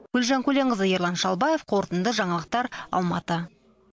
гүлжан көленқызы ерлан шалбаев қорытынды жаңалықтар алматы